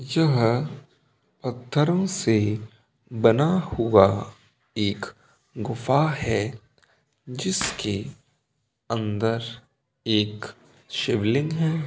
यह पत्थरो से बना हुआ एक गुफा है जिसके अंदर एक शिवलिंग है।